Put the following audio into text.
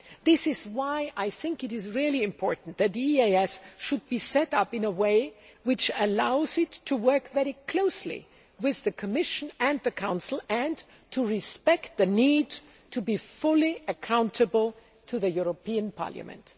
This is why I think it is very important that the EEAS should be set up in a way which allows it to work very closely with the Commission and the Council and to respect the need to be fully accountable to the European Parliament.